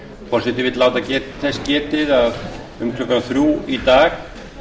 forseti vill láta þess getið að um klukkan þrjú í dag